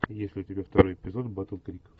есть ли у тебя второй эпизод батл крик